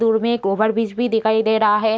दूर में एक ओवरब्रिज भी दिखाई दे रहा है।